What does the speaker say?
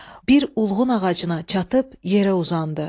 Bir ulğun ağacına çatıb yerə uzandı.